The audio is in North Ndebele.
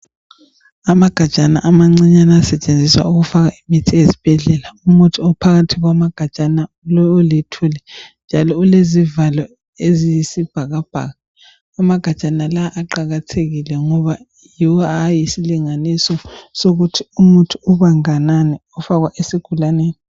Amagajana amancinyane asetshengiziswa ukufaka imithi ezibhedlela. Umuthi ophakathi kwamagajana, lowu oluthuli njalo ulezivalo eziyisibhakabhaka. Amagajana wonala aqakathekike, ngoba yuwo abayisilinganiso, sokuthi umuthi ubanganani, ofakwa esigulaneni.